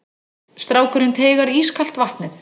Strákurinn teygar ískalt vatnið.